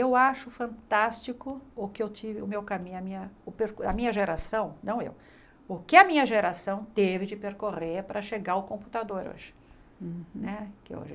Eu acho fantástico o que eu tive, o meu caminho, a minha o per a minha geração, não eu, o que a minha geração teve de percorrer para chegar ao computador hoje. Né que hoje